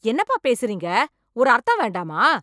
என்னப்பா பேசரீங்க, ஒரு அர்த்தம் வேண்டாமா?